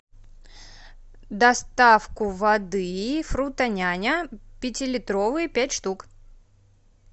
доставку воды фруто няня пятилитровую пять штук